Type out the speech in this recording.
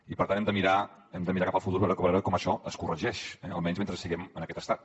i per tant hem de mirar cap al futur per veure com això es corregeix almenys mentre siguem en aquest estat